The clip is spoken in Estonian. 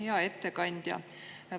Hea ettekandja!